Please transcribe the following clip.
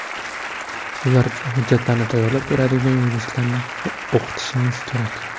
Ularga hujjatlarni tayyorlab beradigan yuristlarni o‘qitishimiz kerak.